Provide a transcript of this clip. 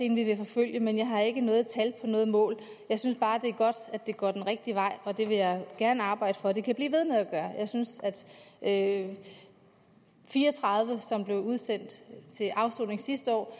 en vi vil forfølge men jeg har ikke noget tal på noget mål jeg synes bare det er godt at det går den rigtige vej og det vil jeg gerne arbejde for at det kan blive ved med at gøre jeg synes at fire og tredive som blev udsendt til afsoning sidste år